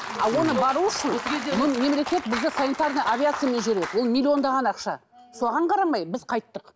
ал оны бару үшін мемлекет бізді санитарный авиациямен жібереді ол миллиондаған ақша соған қарамай біз қайттық